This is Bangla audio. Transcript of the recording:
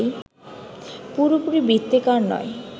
পুরোপুরি বৃত্তাকার নয়